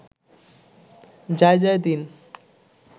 Jaijaidin